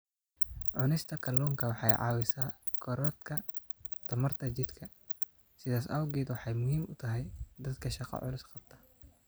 Cunista kalluunku waxa ay caawisaa korodhka tamarta jidhka, sidaas awgeed waxa ay muhiim u tahay dadka shaqo culus qabta.